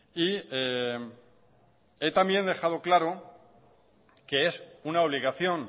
y he dejado claro también que es una obligación